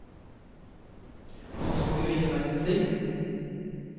Han så jo ingen verdens ting.